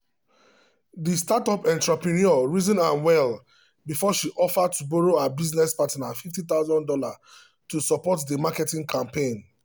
the startup entrepreneur reason am well before she offer to borrow her business partner fifty thousand dollars to support the marketing campaign.